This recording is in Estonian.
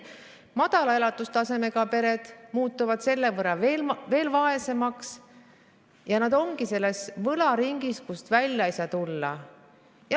Madala elatustasemega pered jäävad selle võrra veel vaesemaks ja nad ongi selles võlaringis, kust välja ei saa tulla.